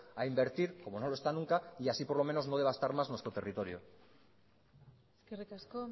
a invertir como no lo está nunca y así por lo menos no devastar más nuestro territorio eskerrik asko